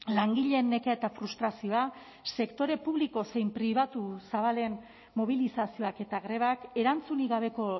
langileen nekea eta frustrazioa sektore publiko zein pribatu zabalen mobilizazioak eta grebak erantzunik gabeko